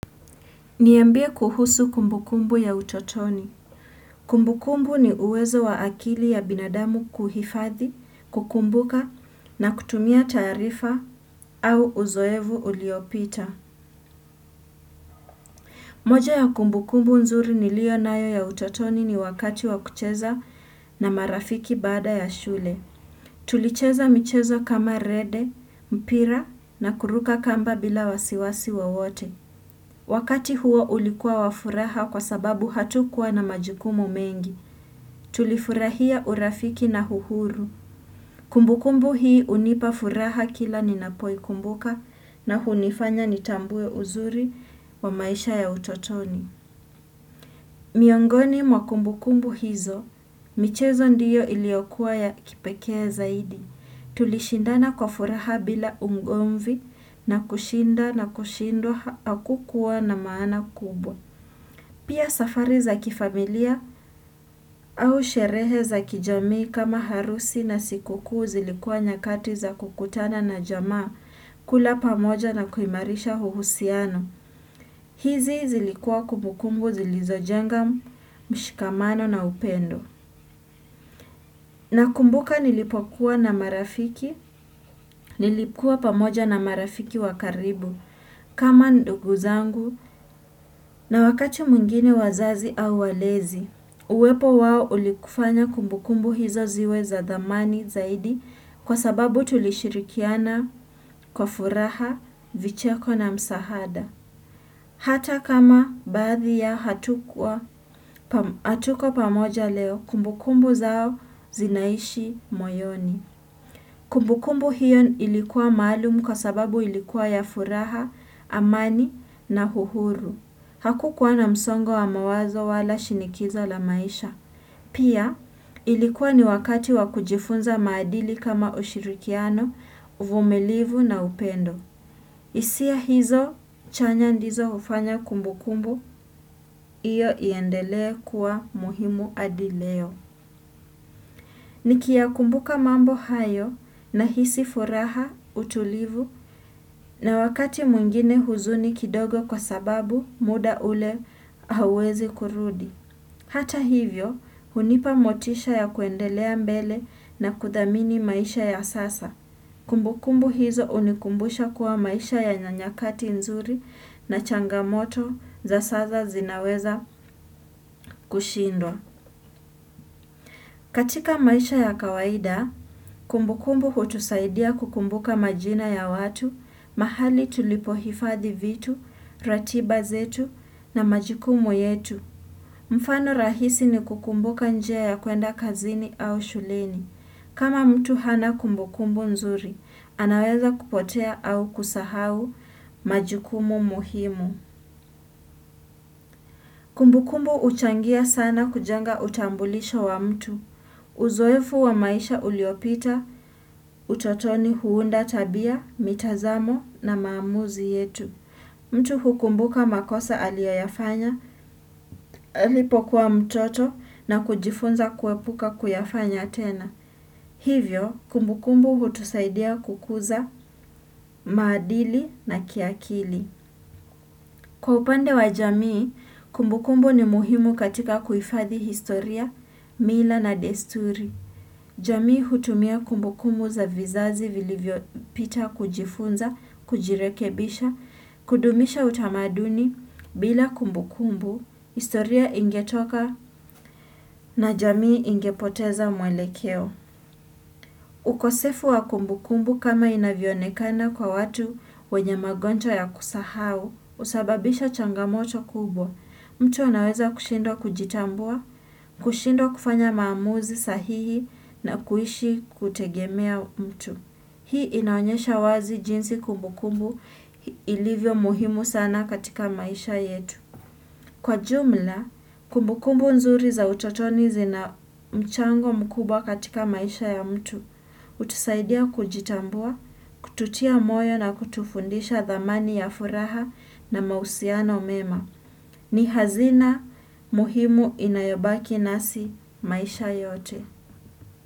Niambie kuhusu kumbukumbu ya utotoni. Kumbukumbu ni uwezo wa akili ya binadamu kuhifadhi, kukumbuka na kutumia taarifa au uzoevu uliopita. Moja ya kumbukumbu nzuri niliyo nayo ya utotoni ni wakati wa kucheza na marafiki baada ya shule. Tulicheza michezo kama rede, mpira na kuruka kamba bila wasiwasi wowote. Wakati huo ulikuwa wa furaha kwa sababu hatukuwa na majukumu mengi, tulifurahia urafiki na uhuru. Kumbukumbu hii hunipa furaha kila ninapoikumbuka na hunifanya nitambue uzuri wa maisha ya utotoni. Miongoni mwa kumbukumbu hizo, michezo ndiyo iliyokuwa ya kipekee zaidi. Tulishindana kwa furaha bila ungomvi na kushinda na kushindwa hakukuwa na maana kubwa. Pia safari za kifamilia au sherehe za kijamii kama harusi na sikukuu zilikua nyakati za kukutana na jamaa kula pamoja na kuimarisha uhusiano. Hizi zilikua kumbukumbu zilizojenga, mshikamano na upendo. Nakumbuka nilipokuwa na marafiki, nilikuwa pamoja na marafiki wa karibu kama ndugu zangu na wakati mwingine wazazi au walezi. Uwepo wao ulikufanya kumbukumbu hizo ziwe za dhamani zaidi kwa sababu tulishirikiana kwa furaha, vicheko na msahada. Hata kama baadhi ya hatuku pamo hatuko pamoja leo, kumbukumbu zao zinaishi moyoni. Kumbukumbu hiyo ilikuwa maalum kwa sababu ilikuwa ya furaha, amani na uhuru. Hakukuwa na msongo wa mawazo wala shinikiza la maisha. Pia ilikuwa ni wakati wa kujifunza maadili kama ushirikiano, uumilivu na upendo. Hisia hizo chanya ndizo hufanya kumbukumbu, hiyo iendelea kuwa muhimu hadi leo. Nikiyakumbuka mambo hayo nahisi furaha utulivu na wakati mwingine huzuni kidogo kwa sababu mda ule hawezi kurudi. Hata hivyo, hunipa motisha ya kuendelea mbele na kuthamini maisha ya sasa. Kumbukumbu hizo hunikumbusha kuwa maisha yana nyakati nzuri na changamoto za sasa zinaweza kushindwa. Katika maisha ya kawaida, kumbukumbu hutusaidia kukumbuka majina ya watu, mahali tulipohifadhi vitu, ratiba zetu na majukumu yetu. Mfano rahisi ni kukumbuka njia ya kuenda kazini au shuleni. Kama mtu hana kumbukumbu nzuri, anaweza kupotea au kusahau majukumu muhimu. Kumbukumbu uchangia sana kujanga utambulisha wa mtu. Uzoefu wa maisha uliopita utotoni huunda tabia, mitazamo na maamuzi yetu. Mtu hukumbuka makosa aliyoyafanya, alipokuwa mtoto na kujifunza kuepuka kuyafanya tena. Hivyo, kumbukumbu hutusaidia kukuza maadili na kiakili. Kwa upande wa jamii, kumbukumbu ni muhimu katika kuhifadhi historia, mila na desturi. Jamii hutumia kumbukumbu za vizazi vilivyopita kujifunza, kujirekebisha, kudumisha utamaduni, bila kumbukumbu, historia ingetoka na jamii ingepoteza mwelekeo. Ukosefu wa kumbukumbu kama inavionekana kwa watu wenye magonjwa ya kusahau husababisha changamoto kubwa. Mtu anaweza kushindwa kujitambua, kushindwa kufanya maamuzi sahihi na kuishi kutegemea mtu. Hii inaonyesha wazi jinsi kumbukumbu ilivyo muhimu sana katika maisha yetu. Kwa jumla, kumbukumbu nzuri za utotoni zina mchango mkubwa katika maisha ya mtu, hutusaidia kujitambua, kututia moyo na kutufundisha dhamani ya furaha na mahusiano mema. Ni hazina muhimu inayobaki nasi maisha yote.